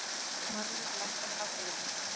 Marlaug, lækkaðu í hátalaranum.